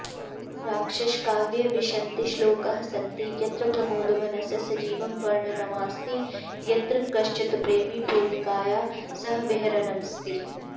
राक्षसकाव्ये विंशतिश्लोकाः सन्ति यत्र प्रमोदवनस्य सजीवं वर्णनमस्ति यत्र कश्चित्प्रेमी प्रेमिकया सह विहरन्नस्ति